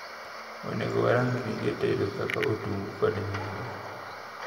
Onego warang gige tedo kaka otungu kod nyanya.